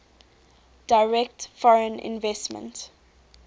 direct foreign investment